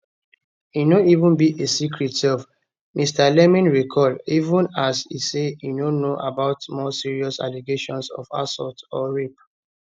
e no even be a secret sef mr leeming recall even as e say e no know about more serious allegations of assault or rape